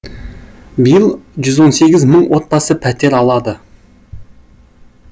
биыл жүз он сегіз мың отбасы пәтер алады